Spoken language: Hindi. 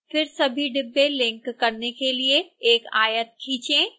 फिर सभी डिब्बे लिंक करने के लिए एक आयत खींचे